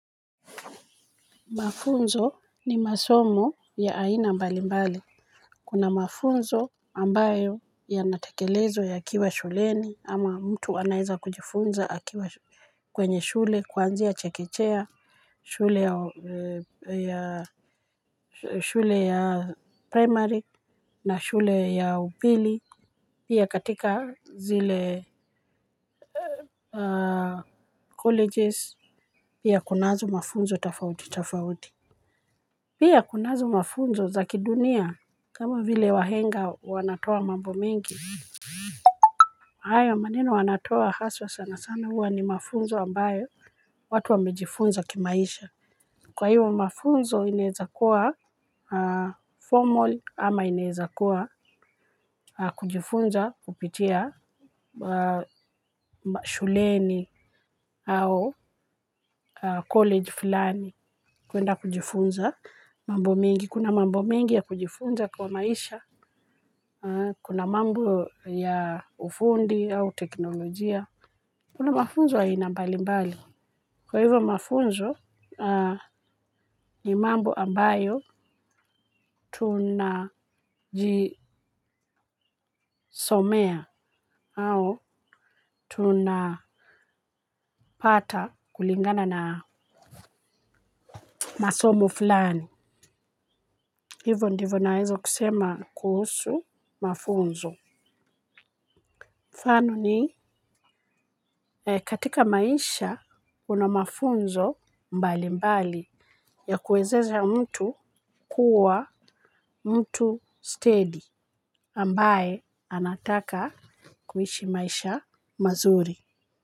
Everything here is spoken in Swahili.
Mafunzo ni masomo ya aina mbali mbali. Kuna mafunzo ambayo yanatekelezwa yakiwa shuleni, ama mtu anaweza kujifunza kwenye shule ya kwanzia chekechea, shule ya primary na shule ya upili. Pia katika zile colleges, pia kunazo mafunzo tafauti tafauti. Pia kuna mafunzo ya kidunia kama vile wahenga wanatoa mambo mengi, hayo maneno wanayotoa hasa sana sana, huwa ni mafunzo ambayo watu wamejifunza kimaisha. Kwa hiyo, mafunzo yanawezakuwa formal ama inawezakuwa kujifunza kupitia shuleni au college fulani. Kuenda kujifunza mambo mingi. Kuna mambo mingi ya kujifunza kwa maisha. Kuna mambo ya ufundi au teknolojia. Kuna mafunzo ya aina mbali mbali. Kwa hivyo mafunzo ni mambo ambayo au tunapata kulingana na masomo fulani. Hivo ndivo naweza kusema kuhusu mafunzo. Fanu ni katika maisha kunamafunzo mbali mbali ya kuwezesha mtu kuwa mtu steady ambaye anataka kuishi maisha mazuri.